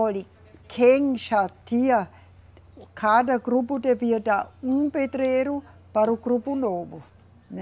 Olhe, quem já tinha, cada grupo devia dar um pedreiro para o grupo novo, né?